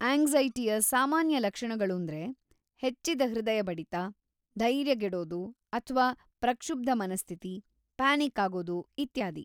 ಆಂಗ್ಸೈಟಿಯ ಸಾಮಾನ್ಯ ಲಕ್ಷಣಗಳೂಂದ್ರೆ ಹೆಚ್ಚಿದ ಹೃದಯ ಬಡಿತ, ಧೈರ್ಯಗೆಡೋದು‌ ಅಥ್ವಾ ಪ್ರಕ್ಷುಬ್ಧ ಮನಸ್ಥಿತಿ, ಪ್ಯಾನಿಕ್ ಆಗೋದು, ಇತ್ಯಾದಿ.